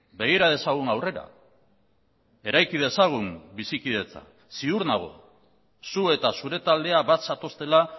begira dezagun aurrera eraiki dezagun bizikidetza ziur nago zu eta zure taldea bat zatoztela